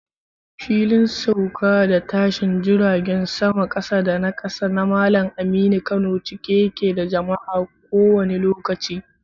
Filin Sauka da Tashin Jiragen Saman Kasa da Kasa na Malam Aminu Kano cike yake da jama'a a kowanne lokaci.